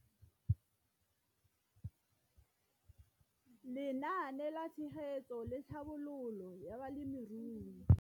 Lenaane la Tshegetso le Tlhabololo ya Balemirui